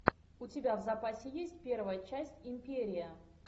у тебя в запасе есть первая часть империя